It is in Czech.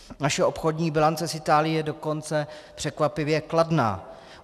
Naše obchodní bilance s Itálií je dokonce překvapivě kladná.